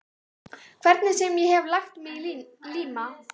Hvernig sem ég hef lagt mig í líma.